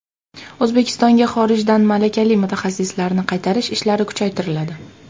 O‘zbekistonga xorijdan malakali mutaxassislarni qaytarish ishlari kuchaytiriladi.